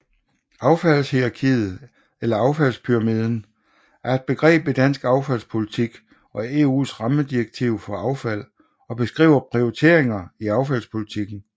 Affaldshierarkiet eller affaldspyramiden er et begreb i dansk affaldspolitik og EUs rammedirektiv for affald og beskriver prioriteringer i affaldspolitikken